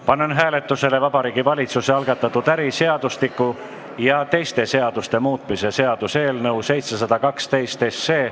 Panen hääletusele Vabariigi Valitsuse algatatud äriseadustiku ja teiste seaduste muutmise seaduse eelnõu 712.